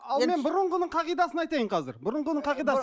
ал мен бұрынғының қағидасын айтайын қазір бұрынғының қағидасы